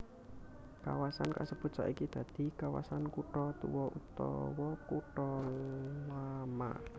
Kawasan kasebut saiki dadi kawasan kutha tuwa utawa kutha lama